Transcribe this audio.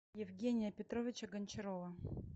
евгения петровича гончарова